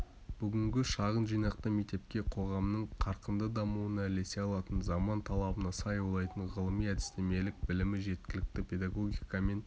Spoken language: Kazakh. бүгінгі шағын жинақты мектепке қоғамның қарқынды дамуына ілесе алатын заман талабына сай ойлайтын ғылыми-әдістемелік білімі жеткілікті педагогика мен